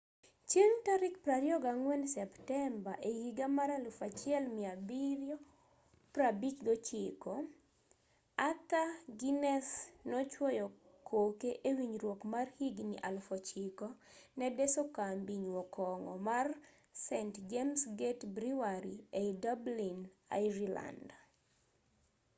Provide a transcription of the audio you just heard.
chieng' tarik 24 septemba 1759 arthur guiness nochuoyo koke e winjruok mar higni 9,000 ne deso kambi nyuo kong'o mar st james' gate brewery ei dublin ireland